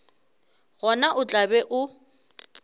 gona o tla be o